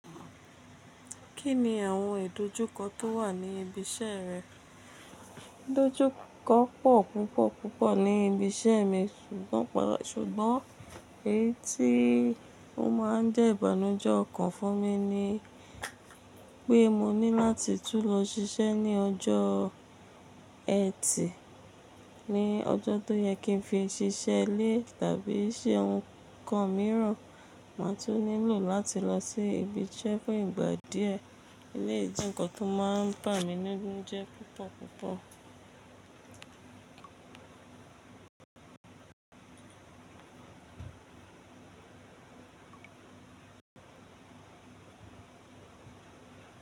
Kí ni àwọn ìdojúkọ tó wà ní ibi iṣẹ́ rẹ? Ìdojúkọ pọ̀ púpọ̀ púpọ̀ ní ibi iṣẹ́ mi, ṣùgbọ́n èyí tí ó máa ń jẹ́ ìbànújẹ́ ọkàn fún mi ni pé mo ní láti tún lọ ṣiṣẹ́ ní ọjọ́ Ẹtì. Ni ọjọ́ tó yẹ kí n fi ṣiṣẹ́ ilé tàbí ṣe ohun kan mìíràn, màá tún nílò láti lọ sí ibi iṣẹ́ fún ìgbà díẹ̀. Eléyìí jẹ́ ǹkan tó máa ń bà mí nínú jẹ́ púpọ̀ púpọ̀.